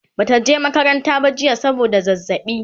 Bata je makaranta ba jiya saboda zazzaɓi